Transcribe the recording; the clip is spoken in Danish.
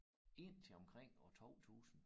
Indtil omkring år 2000